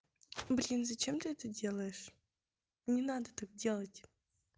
блин зачем ты это делаешь не надо так делать